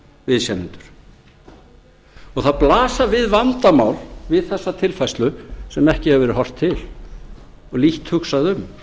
viðsemjendur það blasa við vandamál við þessa tilfærslu sem ekki hefur verið horft til og lítt hugsað um